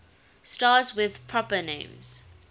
stars with proper names